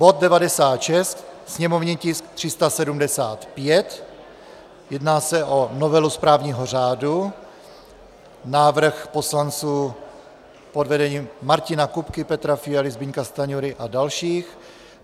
Bod 96, sněmovní tisk 375, jedná se o novelu správního řádu, návrh poslanců pod vedením Martina Kupky, Petra Fialy, Zbyňka Stanjury a dalších.